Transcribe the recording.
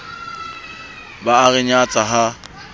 ba a re nyatsa ha